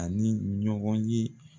A ni ɲɔgɔn ye